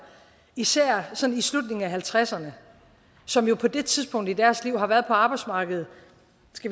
især sådan i slutningen af halvtredserne som jo på det tidspunkt i deres liv har været på arbejdsmarkedet